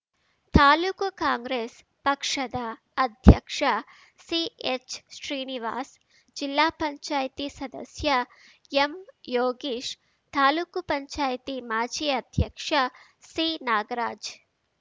ತಾಲೂಕು ಕಾಂಗ್ರೆಸ್‌ ಪಕ್ಷದ ಅಧ್ಯಕ್ಷ ಸಿಎಚ್‌ಶ್ರೀನಿವಾಸ್‌ ಜಿಲ್ಲಾ ಪಂಚಾಯ್ತಿ ಸದಸ್ಯ ಎಂಯೋಗೀಶ್‌ ತಾಲೂಕು ಪಂಚಾಯ್ತಿ ಮಾಜಿ ಅಧ್ಯಕ್ಷ ಸಿನಾಗರಾಜ್‌